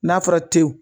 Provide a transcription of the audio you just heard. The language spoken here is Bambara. N'a fɔra te wo